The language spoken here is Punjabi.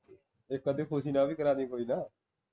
ਇਕ ਅੱਧੀ ਖੁਸ਼ੀ ਨਾਲ ਦਾ ਵੀ ਕਰਾਦੀ ਕੋਈ ਨਾ